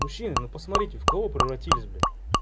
мужчина ну посмотрите в кого вы превратились блять